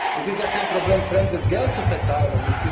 Es ist ja kein Problem, fremdes Geld zu verteilen.